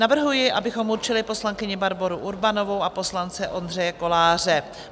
Navrhuji, abychom určili poslankyni Barboru Urbanovou a poslance Ondřeje Koláře.